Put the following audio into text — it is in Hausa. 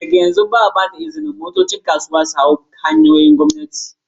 Daga yanzu, ba a ba da izinin motocin kasuwa su hau kan hanyoyin gwamnati ba.